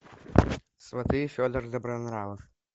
сваты федор добронравов